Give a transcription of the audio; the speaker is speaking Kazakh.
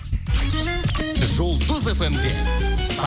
жұлдыз фм де